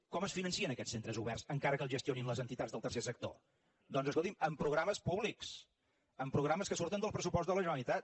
com es financen aquests centres oberts encara que els gestionin les entitats del tercer sector doncs escolti’m amb programes públics amb programes que surten del pressupost de la generalitat